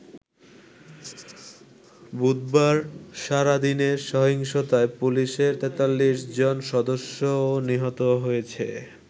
বুধবার সারাদিনের সহিংসতায় পুলিশের ৪৩ জন সদস্যও নিহত হয়েছে।